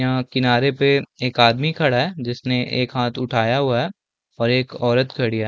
यहाँ किनारे पे एक आदमी खड़ा है जिसने एक हाथ उठाया हुआ है और एक औरत खड़ी हैं।